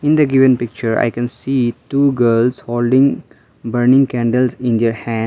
in the given picture i can see two girls holding burning candles in their hand.